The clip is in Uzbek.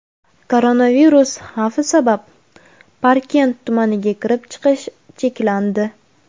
Koronavirus xavfi sabab Parkent tumaniga kirib-chiqish cheklandi.